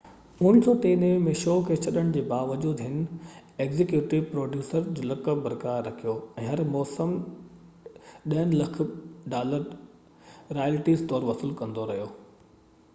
1993 ۾ شو کي ڇڏڻ جي باوجود هن ايگزيڪيوٽو پروڊيوسر جو لقب برقرار رکيو ۽ هر موسم ڏهن لک ڊالر رائلٽيز طور وصول ڪندو رهيو